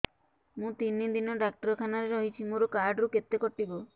ମୁଁ ତିନି ଦିନ ଡାକ୍ତର ଖାନାରେ ରହିଛି ମୋର କାର୍ଡ ରୁ କେତେ କଟିବ